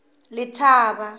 letaba